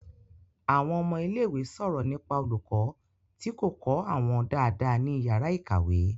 Àwọn ọmọ ilé ìwé sọ̀rọ̀ nípa olùkọ́ tí kò kọ́ àwọn dáadáa ní ìyàrá-ìkàwé.